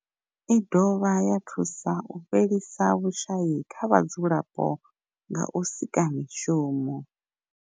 I dovha ya thusa u fhelisa vhushayi kha vhadzulapo nga u sika mishumo.